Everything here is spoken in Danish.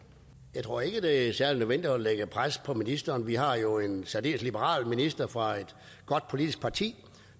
jeg tror ikke det er særlig nødvendigt at lægge pres på ministeren vi har jo en særdeles liberal minister fra et godt politisk parti